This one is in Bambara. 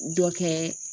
Dɔ kɛ